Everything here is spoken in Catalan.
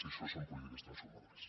i això són polítiques transformadores